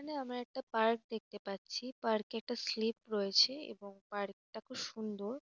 এখানে আমরা একটা পার্ক দেখতে পাচ্ছি। পার্ক -এ একটি স্লিপ রয়েছে এবং পার্ক -টা খুব সুন্দর।